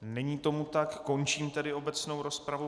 Není tomu tak, končím tedy obecnou rozpravu.